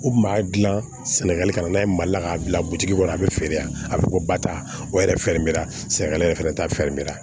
U kun b'a dilan sɛnɛgali ka na n'a ye mali la k'a bila butigi kɔnɔ a bɛ feere yan a bɛ ko bata o yɛrɛ yɛrɛ fɛnɛ t'a